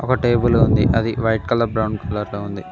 ఒక టేబుల్ ఉంది అది వైట్ కలర్ బ్రౌన్ కలర్ లో ఉంది.